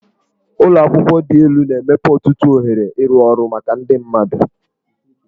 Ụlọ akwụkwọ dị elu na-emepe ọtụtụ ohere ịrụ ọrụ maka ndị mmadụ.